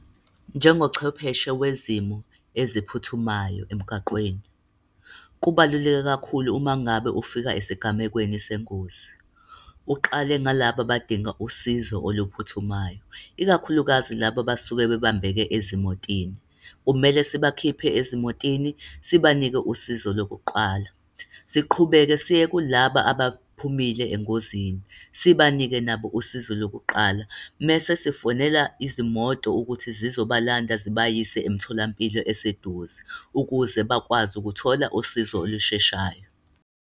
Njengochwepheshe wezimo eziphuthumayo emgaqweni, kubaluleke kakhulu uma ngabe ufika esigamekweni sengozi, uqale ngalabo abadinga usizo oluphuthumayo, ikakhulukazi laba abasuke bebambekile ezimotini. Kumele sibakhiphe ezimotini, sibanike usizo lokuqala. Siqhubeke siye kulaba abaphumile engozini, sibanike nabo usizo lokuqala. Mese sifonela izimoto ukuthi sizobalanda zibayise emtholampilo eseduze, ukuze bakwazi ukuthola usizo olusheshayo.